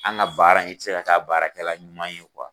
An ga baara in i ti se ka kɛ a baarakɛla ɲuman ye